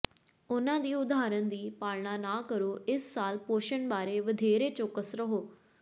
ਉਨ੍ਹਾਂ ਦੀ ਉਦਾਹਰਨ ਦੀ ਪਾਲਣਾ ਨਾ ਕਰੋ ਇਸ ਸਾਲ ਪੋਸ਼ਣ ਬਾਰੇ ਵਧੇਰੇ ਚੌਕਸ ਰਹੋ